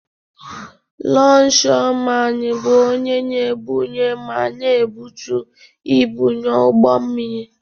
Longshoreman bụ onye na-ebunye ma na-ebutu ibu n'ụgbọ mmiri.